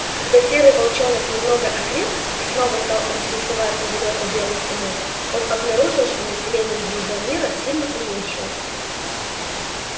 когда серый волчонок немного окреп и снова стал интересоваться далёкой белой стеной он обнаружил что население его мира сильно уменьшилось